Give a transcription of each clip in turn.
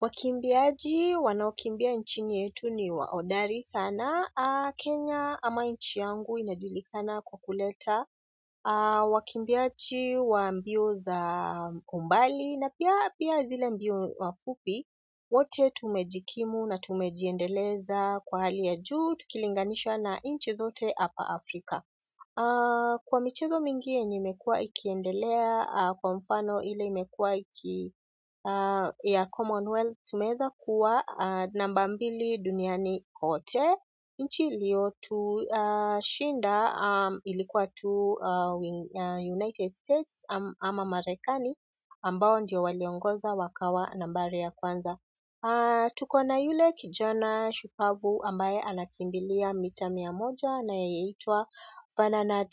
Wakimbiaji wanaokimbia nchini yetu ni wa hodari sana. Kenya ama nchi yangu inajulikana kwa kuleta wakimbiaji wa mbio za mbali na pia zile mbio wafupi wote tumejikimu na tumejiendeleza kwa hali ya juu tukilinganishwa na nchi zote hapa Afrika. Kwa michezo mingi yenye imekua ikiendelea kwa mfano ile imekua ya Commonwealth tumeweza kuwa namba mbili duniani kote nchi iliyo tushinda ilikuwa tu United States ama Marekani ambao ndio waliongoza wakawa nambari ya kwanza tuko na yule kijana shupavu ambaye anakimbilia mita mia moja anayeitwa Ferdinand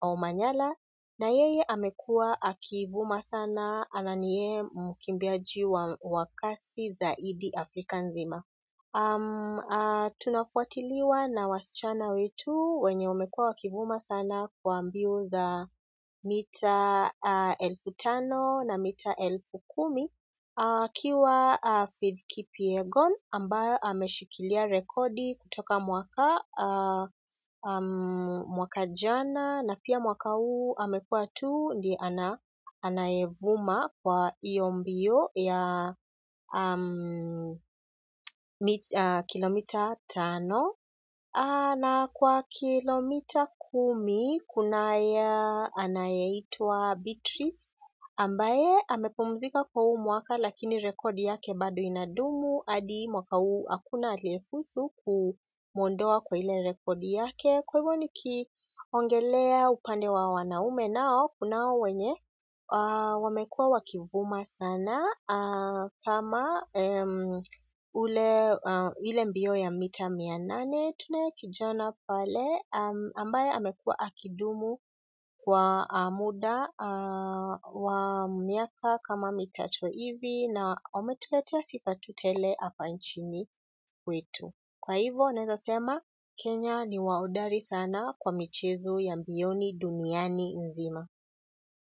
Omanyalana yeye amekua akivuma sana na niyeye mkimbiaji wa kasi zaidi Afrika nzima. Tunafuatiliwa na wasichana wetu wenye wamekuwa wakivuma sana kwa mbio za mita elfu tano na mita elfu kumi akiwa Faith Kipyegon ambaye ameshikilia rekodi kutoka mwaka jana na pia mwaka huu amekua tu ndiye ana anayevuma kwa hio mbio ya kilomita tano na kwa kilomita kumi kuna ya anaye itwa Beatrice ambaye amepumzika kwa huu mwaka lakini rekodi yake bado inadumu hadi mwaka huu hakuna aliyefuzu kumuondoa kwa ile rekodi yake kwa hivyo nikiongelea upande wa wanaume nao kunao wenye wamekua wakivuma sana kama ile mbio ya mita mia nane tunaye kijana pale ambaye amekua akidumu kwa muda wa miaka kama mitatu hivi na ametuletea sifa yu tele hapa nchini kwetu kwa hivo, neweza sema Kenya ni wahodari sana kwa michezo ya mbioni duniani nzima.